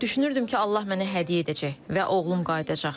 Düşünürdüm ki, Allah mənə hədiyyə edəcək və oğlum qayıdacaq.